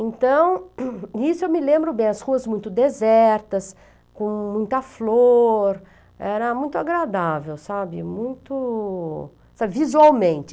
Então, isso eu me lembro bem, as ruas muito desertas, com muita flor, era muito agradável, sabe, muito, sabe, visualmente.